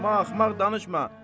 Axmaq-axmaq danışma!